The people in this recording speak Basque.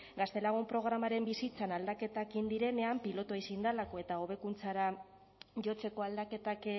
gaztelagun programaren bizitzan aldaketak egin direnean pilotoa ezin delako eta hobekuntzara jotzeko aldaketak